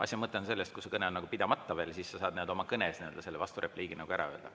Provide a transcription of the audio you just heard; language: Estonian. Asja mõte on selles, et kui su kõne on pidamata veel, siis sa saad oma kõnes selle vasturepliigi ära öelda.